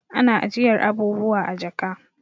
Ana ajiyar abubuwa a jaka